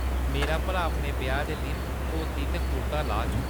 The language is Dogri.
मेरा भ्राऽ अपने ब्याह्‌‌ दे दिन धोती ते कुर्ता लाग।